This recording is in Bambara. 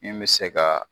Min bɛ se ka